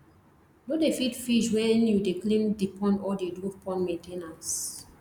no dey feed fish when you dey clean the pond or dey do pond main ten ance